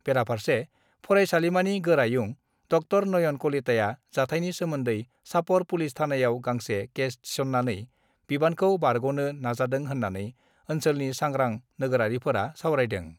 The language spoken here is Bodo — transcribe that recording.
बेराफार्से फरायसालिमानि गोरायुं ड' नयन कलिताया जाथायनि सोमोन्दै चापर पुलिस थानायाव गांसे केस थिसन्नानै बिबानखौ बारग'नो नाजादों होन्नानै ओन्सोलनि सांग्रां नोगोरारिफोरा सावरायदों।